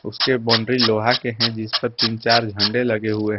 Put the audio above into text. उसके बाउंड्री लोहा के हैं जिस पर तीन चार झंडे लगे हुए हैं।